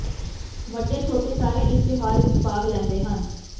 ਵੱਡੇ ਛੋਟੇ ਸਾਰੇ ਇਸ ਤਿਉਹਾਰ ਵਿੱਚ ਭਾਗ ਲੈਂਦੇ ਹਨ